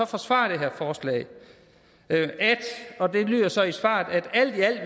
forsvaret det her forslag det lyder så i svaret alt i alt